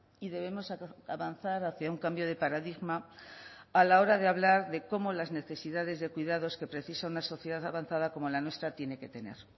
y debemos avanzar hacia un cambio de paradigma a la hora de hablar de cómo las necesidades de cuidados que precisa una sociedad avanzada como la nuestra tiene que tener